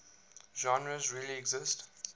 genres really exist